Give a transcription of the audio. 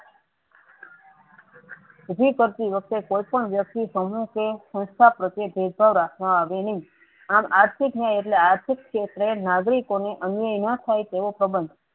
ઉભી કરતી વખતે કોઈ પણ વ્યક્તિ સમૂહ કે સનસ્થા પ્રત્યે ભેદ ભાવ રાખવામાં આવે નહિ આમ આર્થિક ન્યાય એટલે આર્થિક ક્ષેત્રે નાગરિકોને અન્યાય ન થાય તેવો સંબન્ધ